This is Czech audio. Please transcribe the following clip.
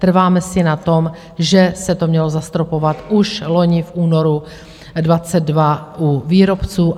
Trváme si na tom, že se to mělo zastropovat už loni v únoru 2022 u výrobců.